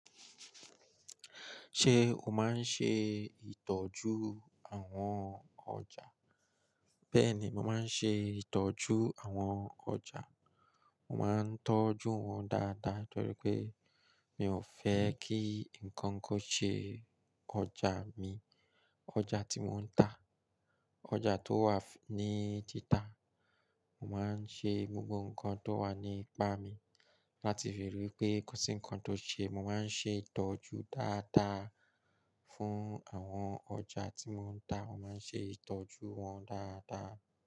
Ṣé o máa ń ṣe ìtọ́jú àwọn ọjà? Bẹ́ẹ̀ni, mo máa ń ṣe ìtọ́jú àwọn ọjà. Mo máa ń tọ́jú wọn dáadáa torí pé mi ò fẹ́ kí nǹkan kan ṣe ọjà mi. Ọjà tí mò ń tà, ọjà tó wà ní títà, mo máa ń ṣe gbogbo nǹkan tó wà ní pá mi láti fi rí pé kosi nǹkan tó ṣe. Mo máa ń ṣe ìtọ́jú dáadáa fún àwọn ọjà tí mò ń tà. Mo máa ń ṣe ìtọ́jú wọn dáadáa.